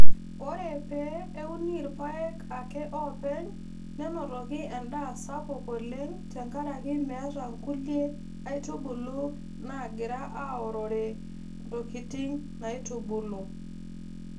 Ore pee euni rpayek ake oopeny nenotoki endaa sapuk oleng tengaraki meeta nkulie aitubulu naagira aorrore ntokitin naaitubulu.